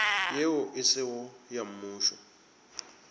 yeo e sego ya mmušo